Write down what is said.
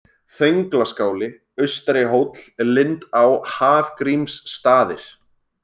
Þönglaskáli, Austari-Hóll, Lindá, Hafgrímsstaðir